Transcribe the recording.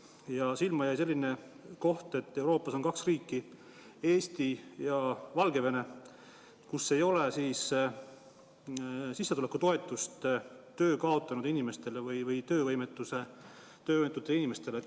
Ja silma jäi selline info, et Euroopas on kaks riiki, Eesti ja Valgevene, kus ei ole sissetulekutoetust töö kaotanud inimestele ja töövõimetutele inimestele.